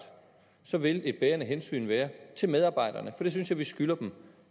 så vil et bærende hensyn være til medarbejderne for det synes jeg vi skylder dem